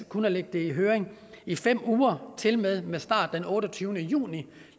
kun at lægge det i høring i fem uger tilmed med start den otteogtyvende juni